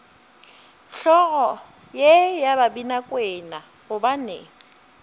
hlogo ye ya babinakwena gobane